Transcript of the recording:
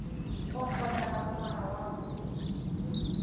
o nkgotla ka monwana wa